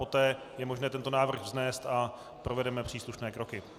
Poté je možné tento návrh vznést a provedeme příslušné kroky.